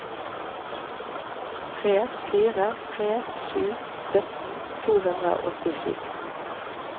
tre fire tre sju sytten to hundre og åttisju